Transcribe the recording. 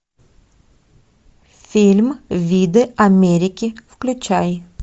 фильм виды америки включай